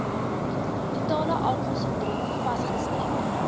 fetalealkoholsindroom fas gestremde